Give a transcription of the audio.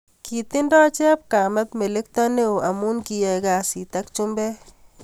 kitindio chepkamet melekto neo amu kiyae kazi ak chumbet